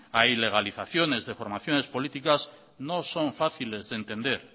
a ilegalizaciones de formaciones políticas no son fáciles de entender